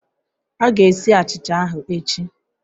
A ga-esi achicha ahụ echi